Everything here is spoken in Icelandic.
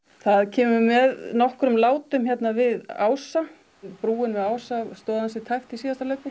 það kemur með nokkrum látum hérna við Ása og brúin við Ása stóð ansi tæpt í síðasta hlaupi